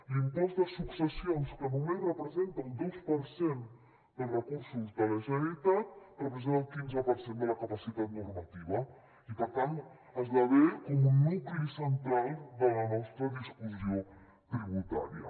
l’impost de successions que només representa el dos per cent dels recursos de la generalitat representa el quinze per cent de la capacitat normativa i per tant esdevé un nucli central de la nostra discussió tributària